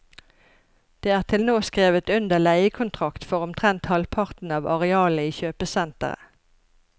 Det er til nå skrevet under leiekontrakt for omtrent halvparten av arealet i kjøpesenteret.